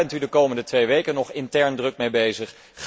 Daar bent u de komende twee weken nog intern druk mee bezig.